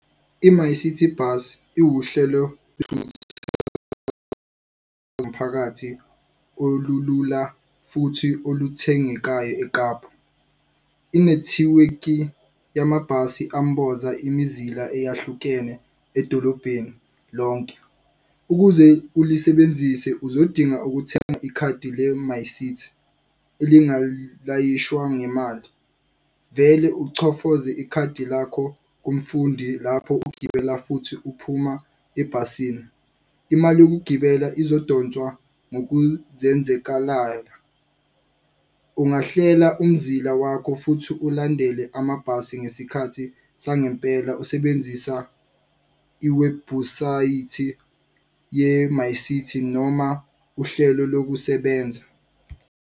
I-MyCiti Bus iwuhlelo olulula futhi oluthengekayo Ekapa. Inethiwekhi yamabhasi amboza imizila eyahlukene edolobheni lonke. Ukuze ulisebenzise, uzodinga ukuthenga ikhadi le-MyCiti elinga layishwa ngemali, vele uchofoze ikhadi lakho kumfundi lapho ugibela futhi uphuma ebhasini. Imali yokugibela izodonswa ngokuzenzakalayo. Ungahlela umzila wakho futhi ulandele amabhasi ngesikhathi sangempela usebenzisa iwebhusayithi ye-MyCiti noma uhlelo lokusebenza.